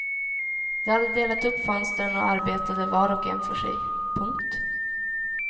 De hade delat upp fönstren och arbetade var och en för sig. punkt